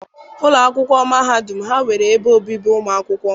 Ụlọ akwụkwọ mahadum ha nwere ebe obibi ụmụ akwụkwọ.